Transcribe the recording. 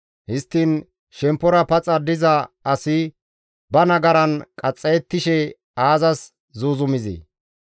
Histtiin shemppora paxa diza asi ba nagaran qaxxayettishe aazas zuuzumizee?